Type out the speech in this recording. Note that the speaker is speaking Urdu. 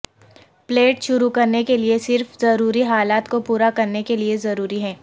پلیٹ شروع کرنے کے لئے صرف ضروری حالات کو پورا کرنے کے لئے ضروری ہے